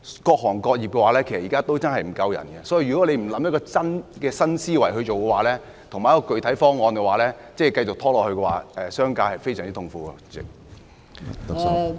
各行各業現時確實欠缺人手，如果你不提出一個新思維和具體的方案，繼續拖延下去，商界會非常痛苦。